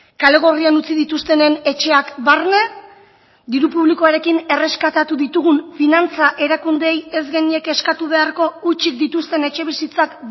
kalegorrian utzi dituztenen etxeak barne diru publikoarekin erreskatatu ditugun finantza erakundeei ez genieke eskatu beharko hutsik dituzten etxe bizitzak